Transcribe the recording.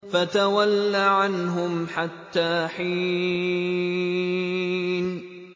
فَتَوَلَّ عَنْهُمْ حَتَّىٰ حِينٍ